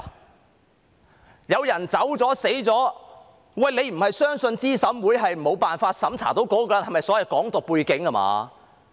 當有人走了或死了，他不是認為候選人資格審查委員會沒有辦法審查到該人有否"港獨"背景吧？